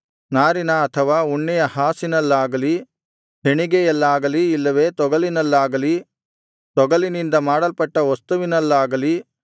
ನಾರಿನ ಅಥವಾ ಉಣ್ಣೆಯ ಹಾಸಿನಲ್ಲಾಗಲಿ ಹೆಣಿಗೆಯಲ್ಲಾಗಲಿ ಇಲ್ಲವೆ ತೊಗಲಿನಲ್ಲಾಗಲಿ ತೊಗಲಿನಿಂದ ಮಾಡಲ್ಪಟ್ಟ ವಸ್ತುವಿನಲ್ಲಾಗಲಿ